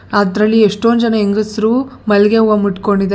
ಅದ್ರಲ್ಲಿ ಎಷ್ಟೊಂದು ಜನ ಹೆಂಗಸರು ಮಲ್ಗೆ ಹೂವ ಮುಟ್ಟಕೊಂಡಿದ್ದಾರೆ ಎಷ್ಟ್--